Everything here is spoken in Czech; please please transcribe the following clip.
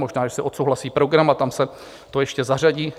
Možná že se odsouhlasí program a tam se to ještě zařadí.